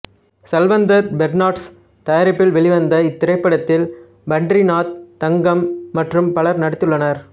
சல்வந்தர் பெர்னாண்டஸ் தயாரிப்பில் வெளிவந்த இத்திரைப்படத்தில் பண்டரிநாத் தங்கம் மற்றும் பலரும் நடித்துள்ளனர்